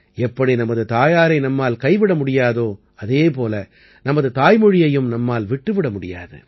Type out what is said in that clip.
எப்படி நமது தாயாரை நம்மால் கைவிட முடியாதோ அதே போல நமது தாய்மொழியையும் நம்மால் விட்டு விட முடியாது